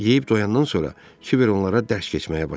Yeyib doyandan sonra Kiber onlara dərs keçməyə başladı.